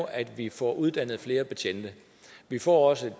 at vi får uddannet flere betjente vi får også